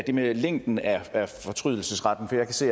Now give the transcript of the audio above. det med længden af fortrydelsesretten jeg kan se